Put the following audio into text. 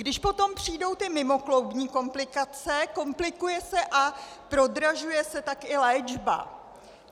Když potom přijdou ty mimokloubní komplikace, komplikuje se a prodražuje se tak i léčba.